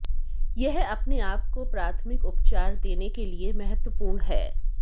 यह अपने आप को प्राथमिक उपचार देने के लिए महत्वपूर्ण है